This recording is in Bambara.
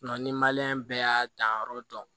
ni bɛɛ y'a danyɔrɔ dɔn